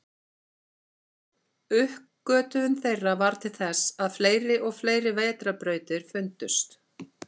Uppgötvun þeirra varð til þess að fleiri og fleiri vetrarbrautir fundust.